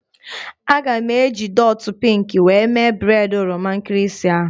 A ga m eji ndọtị pinkị were mee breịd oroma nkịrịsị ahụ